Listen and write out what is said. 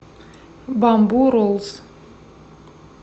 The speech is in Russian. бамбу роллс